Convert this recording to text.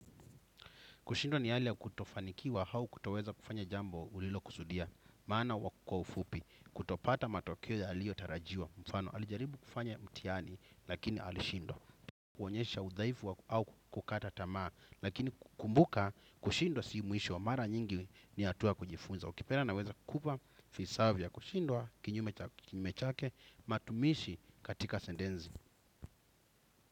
Kushindwa ni hali ya kutofanikiwa au kutoweza kufanya jambo ulilokusudia, maana kwa ufupi, kutopata matokeo yaliyotarajiwa mfano. Alijaribu kufanya mtihani, lakini alishindwa. Kuonyesha udhaifu au kukata tamaa, lakini kumbuka kushindwa si mwisho mara nyingi ni hatua kujifunza. Ukipenda naweza kukupa visawe vya kushindwa, kinyume chake, matumizi katika sentensi.